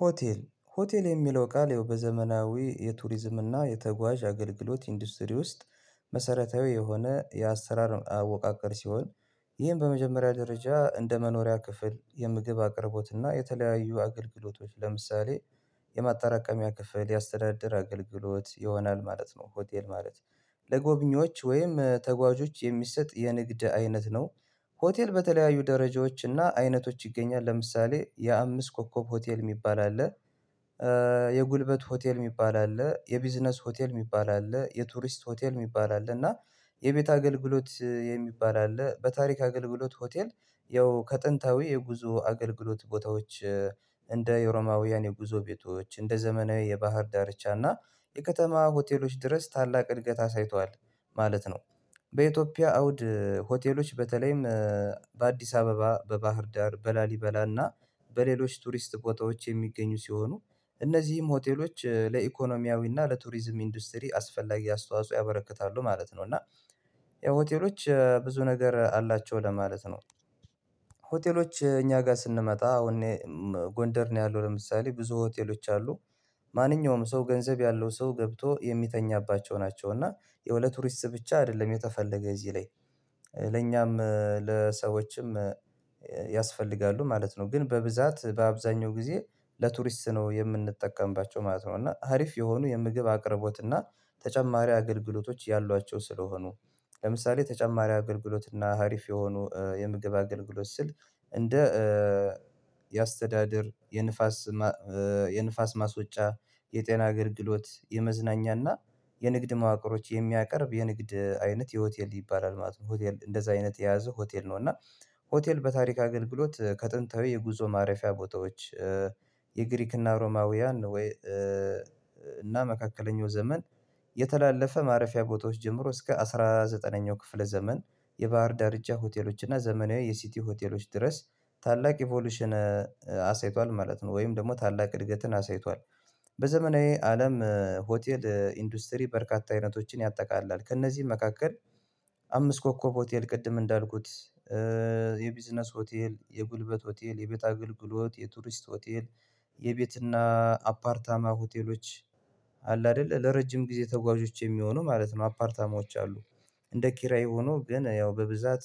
ሆቴል ሆቴል የሚለው ቃል ያው በዘመናዊ የቱሪዝም እና የተጓዥ አገልግሎት ኢንዱስትሪ ውስጥ መሰረታዊ የሆነ የአሰራር አወቃቀር ሲሆን ይሄን በመጀመሪያ ደረጃ እንደ መኖሪያ ክፍል የምግብ አቅርቦትና የተለያዩ አገልግሎቶች ለምሳሌ የማጣራቀሚያ ክፍል ያስተዳድር አገልግሎት ይሆናል ማለት ነው። ሆቴል ማለት ለጎብኚዎች ወይም ተጓዦች የሚሰጥ የንግድ አይነት ነው። ሆቴል በተለያዩ ደረጃዎች እና አይነቶች ይገኛል ለምሳሌ የአምስት ኮከብ ሆቴል የሚባል አለ። የጉልበት ሆቴል የሚባል አለ የቢዝነስ ሆቴል የሚባል አለ የቱሪስት ሆቴል የሚባል አለ። እና የቤት አገልግሎት የሚባል አለ። በታሪክ አገልግሎት ሆቴል ያው ከጥንታዊ የጉዞ አገልግሎት ቦታዎች እንደ የሮማውያን የጉዞ ቤቶች እንደ ዘመናዊ የባህር ዳርቻ እና የከተማ ሆቴሎች ድረስ ታላቅ እድገት አሳይቷል ማለት ነው። በኢትዮጵያ አውድ ሆቴሎች በተለይም በአዲስ አበባ በባህር ዳር በላሊበላ እና በሌሎች ቱሪስት ቦታዎች የሚገኙ ሲሆኑ እነዚህም ሆቴሎች ለኢኮኖሚያዊ እና ለቱሪዝም ኢንዱስትሪ አስፈላጊ አስተዋጽኦ ያበረክታሉ ማለት ነው። እና ያው ሆቴሎች ብዙ ነገር አላቸው ለማለት ነው። ሆቴሎች እኛ ጋር ስንመጣ አሁን ጎንደር ነው ያለው ለምሳሌ ብዙ ሆቴሎች አሉ። ማንኛውም ሰው ገንዘብ ያለው ሰው ገብቶ የሚተኛባቸው ናቸው እና ያው ለቱሪስት ብቻ አይደለም የተፈለገ እዚህ ላይ ለኛም ለሰዎችም ያስፈልጋሉ ማለት ነው። ግን በብዛት በአብዛኛው ጊዜ ለቱሪስት ነው የምንጠቀምባቸው ማለት ነው። እና አሪፍ የሆኑ የምግብ አቅርቦት እና ተጨማሪ አገልግሎቶች ያሏቸው ስለሆኑ ለምሳሌ ተጨማሪ አገልግሎት እና አሪፍ የሆኑ የምግብ አገልግሎት ስል እንደ የአስተዳደር የንፋስ የንፋስ ማስወጫ የጤና አገልግሎት የመዝናኛና የንግድ ማዕከሎች የሚያቀርብ የንግድ አይነት ሆቴል ይባላል ማለት ነው። ሆቴል እንደዚህ አይነት የያዘው ሆቴል ነው እና። ሆቴል በታሪክ አገልግሎት ከጥንታዊ የጉዞ ማረፊያ ቦታዎች የግሪክና ሮማውያን ወይ እና መካከለኛው ዘመን የተላለፈ ማረፊያ ቦታዎች ጀምሮ እስከ አስራ ዘጠነኛው ክፍለ ዘመን የባህር ዳርቻ ሆቴሎች እና ዘመናዊ የሲቲ ሆቴሎች ድረስ ታላቅ ኢቮሉሽን አሳይቷል ማለት ነው። ወይም ደግሞ ታላቅ እድገትን አሳይቷል። በዘመናዊ አለም ሆቴል ኢንዱስትሪ በርካታ አይነቶችን ያጠቃልላል ከእነዚህ መካከል አምስት ኮከብ ሆቴል ቅድም እንዳልኩት የቢዝነስ ሆቴል የጉልበት ሆቴል የቤት አገልግሎት የቱሪስት ሆቴል የቤትና አፓርታማ ሆቴሎች አለ አይደል ለረጅም ጊዜ ተጓዦች የሚሆኑ ማለት ነው አፓርታማዎች አሉ። እንደ ኪራይ ሆኖ ግን ያው በብዛት